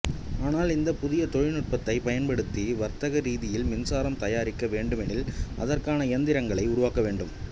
ஆனால் இந்த புதிய தொழில்நுட்பத்தை பயன்படுத்தி வர்த்தக ரீதியில் மின்சாரம் தயாரிக்க வேண்டுமெனில் அதற்கான இயந்திரங்களை உருவாக்க வேண்டும்